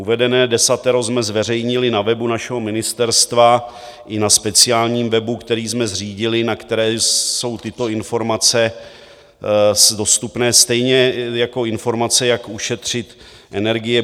Uvedené desatero jsme zveřejnili na webu našeho ministerstva i na speciálním webu, který jsme zřídili, na kterém jsou tyto informace dostupné, stejně jako informace, jak ušetřit energie.